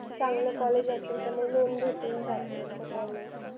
चांगलं college असेल तर मग loan भेटून जात असं काही नाही